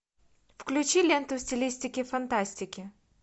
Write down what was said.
включи ленту в стилистике фантастики